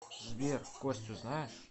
сбер костю знаешь